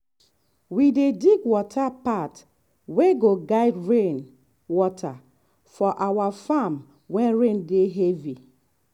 we dey dig water path wey go guide rain water for our farm when rain dey heavy.